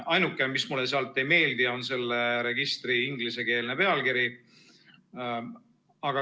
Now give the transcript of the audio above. Ainuke, mis mulle ei meeldi, on selle registri ingliskeelne pealkiri.